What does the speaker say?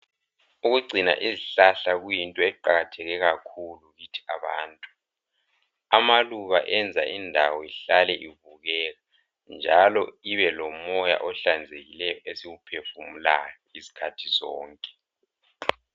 Ukugcina izihlahla kuyinto eqakatheke kakhulu kithi abantu. Amaluba enza indawo ihlale ibukeka njalo ibe lomoya ohlanzekileyo esiwuphefumulayo izikhathi zonke.